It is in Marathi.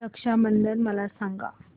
रक्षा बंधन मला सांगा